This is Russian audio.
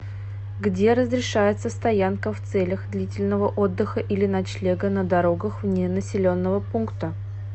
где разрешается стоянка в целях длительного отдыха или ночлега на дорогах вне населенного пункта